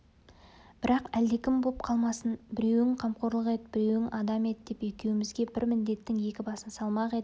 бірақ әлдекім боп қалмасын біреуің қамқорлық ет біреуің адам ет деп екеумізге бір міндеттің екі басын салмақ етіп